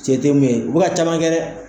Se te min ye u be ka caman kɛ dɛ